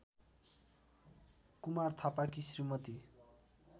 कुमार थापाकी श्रीमती